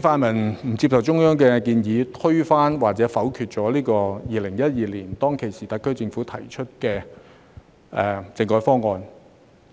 泛民不接受中央的建議，推翻或否決2012年特區政府提出的政改方案，